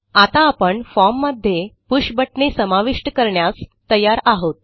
आता आपण फॉर्म मध्ये पुष बटणे समाविष्ट करण्यास तयार आहोत